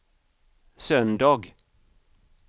söndag